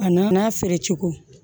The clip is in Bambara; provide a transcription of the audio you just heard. A nana n'a feere cogo